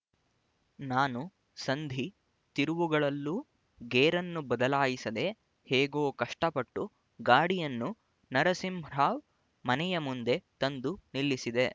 ನಾನು ಸಂಧಿ ತಿರುವುಗಳಲ್ಲೂ ಗೇರನ್ನು ಬದಲಾಯಿಸದೆ ಹೇಗೋ ಕಷ್ಟ ಪಟ್ಟು ಗಾಡಿಯನ್ನು ನರಸಿಂಹರಾವ್ ಮನೆಯ ಮುಂದೆ ತಂದು ನಿಲ್ಲಿಸಿದೆ